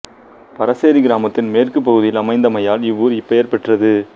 பரசேரி கிராமத்தின் மேற்கு பகுதியில் அமைந்தமையால் இவ்வூர் இப்பெயர் பெற்றது